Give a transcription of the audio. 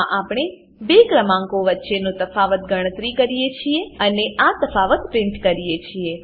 આમાં આપણે બે ક્રમાંકો વચ્ચેનો તફાવત ગણતરી કરીએ છીએ અને આ તફાવત પ્રીંટ કરીએ છીએ